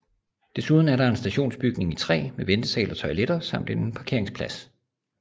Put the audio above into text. Desuden er der en stationsbygning i træ med ventesal og toiletter samt en parkeringsplads